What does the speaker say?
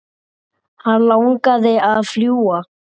Hann langaði að fljúga.